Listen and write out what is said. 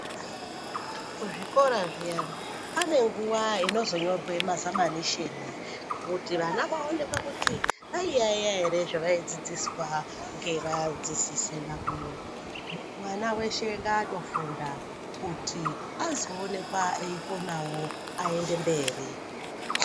Kuzvikora zviyani, pane nguwa inozonyorwe mazamanisheni kuti vana vaonekwe kuti vaiyaiya ere zvavaidzidziswa ngevadzidzisi vavo. Mwana weshe ngaatofunda kuti azoonekwa eikonawo aende mberi.